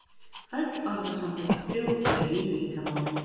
Öll orðasamböndin þrjú eru líkingamál.